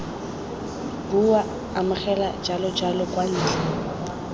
bua amogela jalojalo kwa ntle